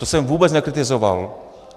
To jsem vůbec nekritizoval.